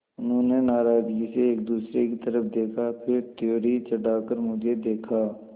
उन्होंने नाराज़गी से एक दूसरे की तरफ़ देखा फिर त्योरी चढ़ाकर मुझे देखा